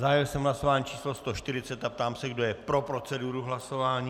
Zahájil jsem hlasování číslo 140 a ptám se, kdo je pro proceduru hlasování.